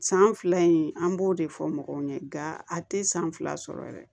San fila in an b'o de fɔ mɔgɔw ɲɛ nka a tɛ san fila sɔrɔ yɛrɛ